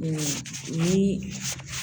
n'i